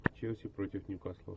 челси против ньюкасла